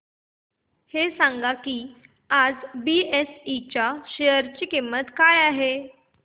हे सांगा की आज बीएसई च्या शेअर ची किंमत किती आहे